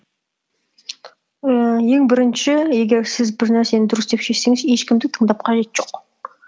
ііі ең бірінші егер сіз бір нәрсені дұрыс деп шешсеңіз ешкімді тыңдап қажеті жоқ